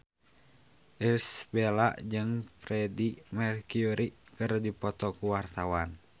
Irish Bella jeung Freedie Mercury keur dipoto ku wartawan